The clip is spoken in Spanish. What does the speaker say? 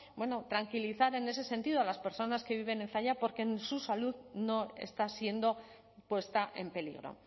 bueno tranquilizar en ese sentido a las personas que viven en zalla porque su salud no está siendo puesta en peligro